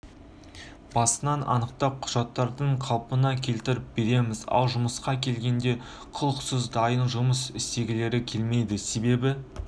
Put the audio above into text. басын анықтап құжаттарын қалыпқа келтіріп береміз ал жұмысқа келгенде құлықсыз дайын жұмыс істегілері келмейді себебі